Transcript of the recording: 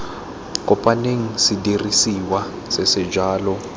kopaneng sedirisiwa se se jalo